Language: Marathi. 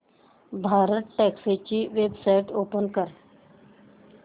भारतटॅक्सी ची वेबसाइट ओपन कर